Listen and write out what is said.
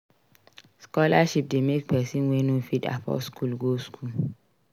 Scholarship de make persin wey no fit afford school go school